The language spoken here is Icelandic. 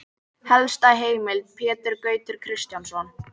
Helsta heimild: Pétur Gautur Kristjánsson.